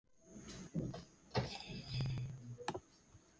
Hann rétti henni myndirnar.